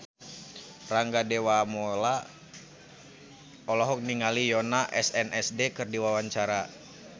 Rangga Dewamoela olohok ningali Yoona SNSD keur diwawancara